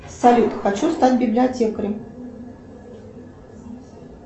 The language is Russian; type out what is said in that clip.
салют хочу стать библиотекарем